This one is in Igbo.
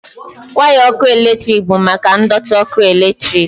waya ọkụ eletrik bụ maka ndọtị ọkụ eletrik